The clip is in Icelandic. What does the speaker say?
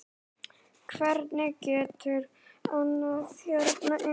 Hvernig geturðu andað hérna inni?